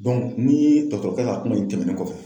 ni dɔtɔrɔkɛ ka kuma in tɛmɛnen kɔfɛ